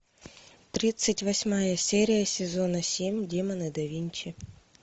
тридцать восьмая серия сезона семь демоны да винчи